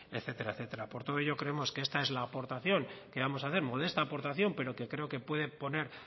etcétera etcétera por todo ello creemos que esta es la aportación que vamos hacer modesta aportación pero que creo que puede poner